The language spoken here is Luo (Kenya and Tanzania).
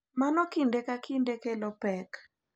Mano kinde ka kinde kelo pek .